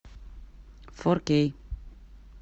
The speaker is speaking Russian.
фор кей